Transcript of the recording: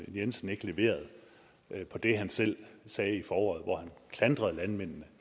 jensen ikke leverede på det han selv sagde i foråret hvor han klandrede landmændene